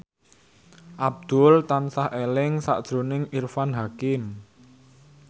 Abdul tansah eling sakjroning Irfan Hakim